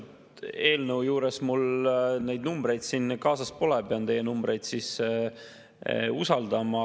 Selle eelnõu juures mul neid numbreid siin kaasas pole, pean teie infot usaldama.